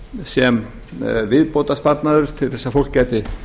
sem viðbótarsparnaður til þess að fólk gæti